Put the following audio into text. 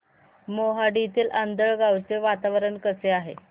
मोहाडीतील आंधळगाव चे वातावरण कसे आहे